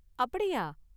அப்படியா!